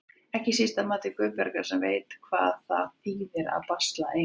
Ekki síst að mati Guðbjargar sem veit hvað það þýðir að basla ein.